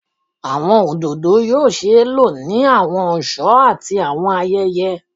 Awọn ododo yoo ṣee lo ni awọn ọṣọ ati awọn ayẹyẹ